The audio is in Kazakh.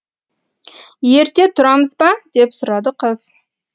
ерте тұрамыз ба деп сұрады қыз